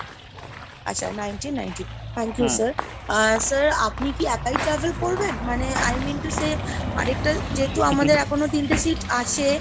আচ্ছা nineteen ninety, Thank you sir। Ah sir আপনি কি একাই travel করবেন? মানে i mean to say আরেকটা যেহেতু আমাদের এখনো তিনটে sit আছে।